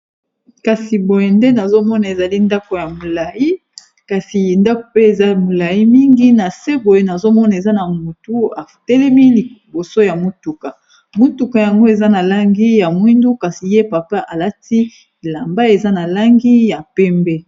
kasi boye nde nazomona ezali ndako ya molai kasi nda pe eza molai mingi na se boye nazomona eza na motu atelemi liboso ya motuka motuka yango eza na langi ya mwindu kasi ye papa alati elamba eza na langi ya pembe